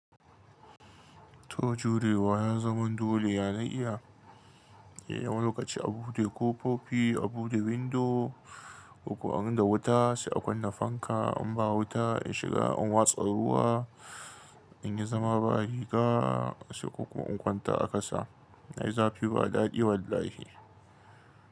To jurewa ya zaman dole, ya na iya. Eh wani lokaci a bude kofofi, a bude windo, uku an rina wuta sai a kunna fanka in ba wuta in shiga in watsa ruwa in yi zama ba riga sai uku in kwanta a kasa. Ai zafi ba daɗi wallahi.